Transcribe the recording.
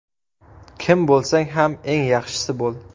Kim bo‘lsang ham eng yaxshisi bo‘l!